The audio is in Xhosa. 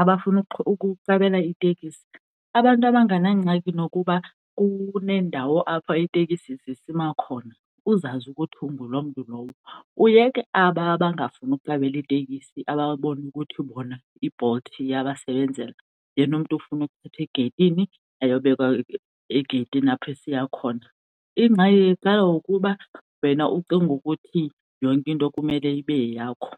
abafuna ukuqabela itekisi, abantu abanganangxaki nokuba kuneendawo apho iitekisi zisima khona uzazi ukuthi unngu loo mntu lowo. Uyeke aba abangafuni ukuqabela itekisi ababona ukuthi bona iBolt iyabasebenzela yena umntu ufuna uthathwa egeyitini ayobekwa egeyitini apho esiya khona, ingxaki iqala ukuba wena ucinge ukuthi yonke into kumele ibe yeyakho.